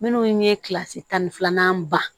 Minnu ye kilasi tan ni filanan ban